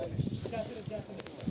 Gətir, gətir, gətir.